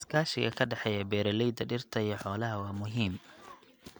Iskaashiga ka dhexeeya beeralayda dhirta iyo xoolaha waa muhiim.